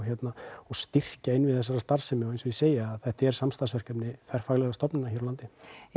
og styrkja innviði þessarar starfsemi og eins og ég segi þetta er samstarfsverkefni þverfaglegra stofnana hér á landi